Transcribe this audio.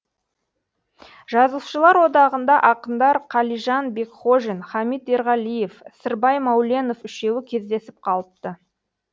жазушылар одағында ақындар қалижан бекхожин хамит ерғалиев сырбай мәуленов үшеуі кездесіп қалыпты